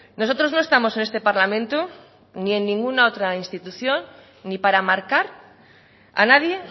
nosotros no estamos en este parlamento ni en ninguna otra institución ni para marcar a nadie